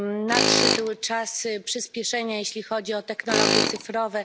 Nadszedł czas przyspieszenia, jeśli chodzi o technologie cyfrowe.